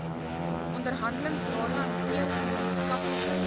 onderhandelingsrade hanteer gemeenskaplike